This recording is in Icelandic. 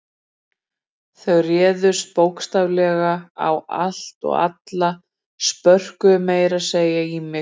Þau réðust bókstaflega á allt og alla, spörkuðu meira að segja í mig.